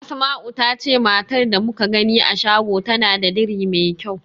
Asma'u ta ce matar da muka gani a shago tana da diri mai kyau.